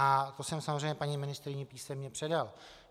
A to jsem samozřejmě paní ministryni písemně předal.